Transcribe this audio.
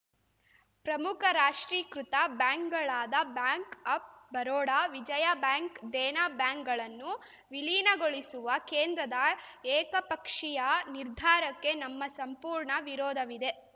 ಪ್ರಮುಖ ರಾಷ್ಟ್ರೀಕೃತ ಬ್ಯಾಂಕ್‌ಗಳಾದ bank of Baroda Vijaya bank Dena ಬ್ಯಾಂಕ್‌ಗಳನ್ನು ವಿಲೀನಗೊಳಿಸುವ ಕೇಂದ್ರದ ಏಕಪಕ್ಷೀಯ ನಿರ್ಧಾರಕ್ಕೆ ನಮ್ಮ ಸಂಪೂರ್ಣ ವಿರೋಧವಿದೆ